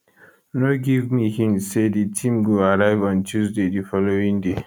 no give me hint say di team go arrive on tuesday di following day